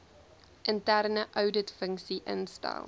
interne ouditfunksie instel